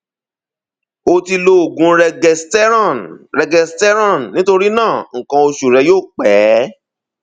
o ti lo oògùn regesterone regesterone nítorí náà nǹkan oṣù rẹ yóò pẹ